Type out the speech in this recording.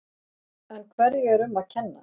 En hverju er um að kenna?